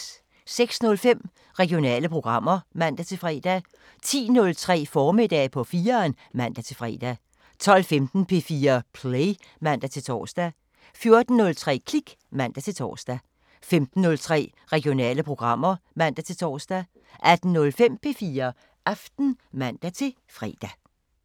06:05: Regionale programmer (man-fre) 10:03: Formiddag på 4'eren (man-fre) 12:15: P4 Play (man-tor) 14:03: Klik (man-tor) 15:03: Regionale programmer (man-tor) 18:05: P4 Aften (man-fre)